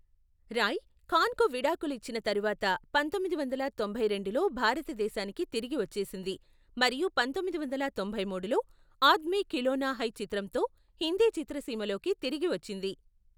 రాయ్, ఖాన్కు విడాకులు ఇచ్చిన తరువాత ,పంతొమ్మిది వందల తొంభై రెండులో భారతదేశానికి తిరిగి వచ్చేసింది మరియు పంతొమ్మిది వందల తొంభై మూడులో, ఆద్మీ ఖిలోనా హై చిత్రంతో హిందీ చిత్రసీమలోకి తిరిగి వచ్చింది.